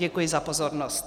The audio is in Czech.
Děkuji za pozornost.